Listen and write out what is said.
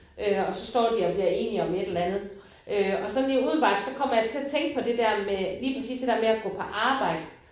Øh og så står de og bliver enige om et eller andet øh og sådan lige umiddelbart så kommer jeg til at tænke på det der med lige præcis det der med at gå på arbejde